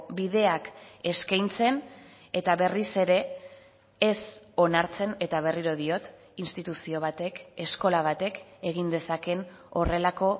bideak eskaintzen eta berriz ere ez onartzen eta berriro diot instituzio batek eskola batek egin dezakeen horrelako